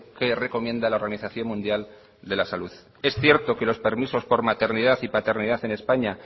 que recomienda la organización mundial de la salud es cierto que los permisos por maternidad y paternidad en españa